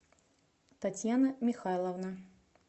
татьяна михайловна